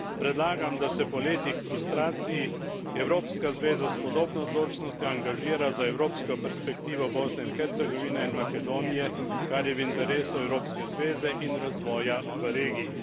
Predlagam, da se po letih frustracij evropska zveza s podobno odločnostjo angažira za evropsko perspektivo Bosne in Hercegovine in Makedonije, kar je v interesu evropske zveze in razvoja v regiji.